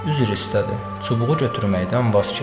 Üzr istədi, çubuğu götürməkdən vaz keçdi.